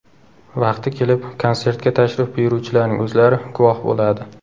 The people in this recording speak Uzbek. Vaqti kelib, konsertga tashrif buyuruvchilarning o‘zlari guvoh bo‘ladi.